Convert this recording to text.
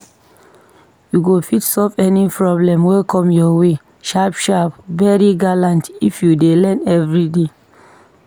U go fit solve any problem wey come ur way sharp sharp, very gallant if u dey learn everyday